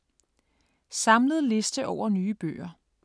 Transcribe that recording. Samlet liste over nye bøger